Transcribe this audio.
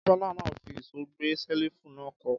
Kápẹ́ńtà náà fi ìṣó gbé ṣẹ́lífù náà kọ́.